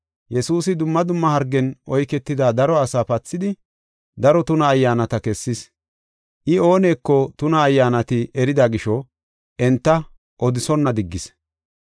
Yesuusi dumma dumma hargen oyketida daro asaa pathidi, daro tuna ayyaanata kessis. I ooneko tuna ayyaanati erida gisho, enta odisonna diggis.